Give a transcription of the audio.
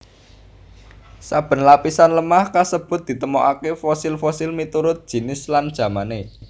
Saben lapisan lemah kasebut ditemokaké fosil fosil miturut jinis lan jamané